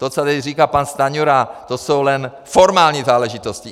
To, co tady říká pan Stanjura, to jsou jen formální záležitosti.